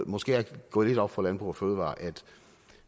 måske er gået lidt op for landbrug fødevarer at